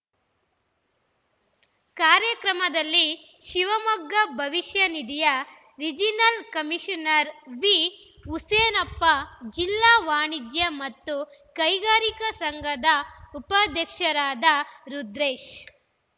ಕಾರ್ಯಕ್ರಮದಲ್ಲಿ ಶಿವಮೊಗ್ಗ ಭವಿಷ್ಯನಿಧಿಯ regional commissioner V Husenappa ಜಿಲ್ಲಾ ವಾಣಿಜ್ಯ ಮತ್ತು ಕೈಗಾರಿಕಾ ಸಂಘದ ಉಪಾಧ್ಯಕ್ಷರಾದ ರುದ್ರೇಶ್‌